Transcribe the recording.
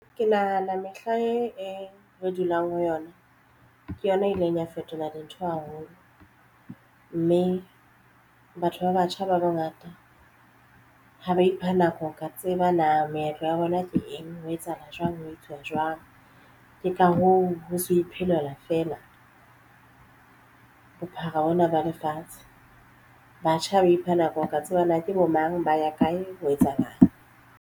Ke nahana mehla e re dulang ho yona. Ke yona e ileng ya fetola dintho haholo mme batho ba batjha ba bangata ha ba ipha nako ho ka tseba na meetlo ya rona le eng ho etsahala jwang ho etsuwa jwang. Ke ka hoo, ho se ho iphelela fela bophara hona ba lefatshe batjha ba ipha nako ho ka tseba na ke bo mang ba ya kae ho etsahalang.